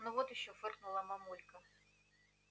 ну вот ещё фыркнула мамулька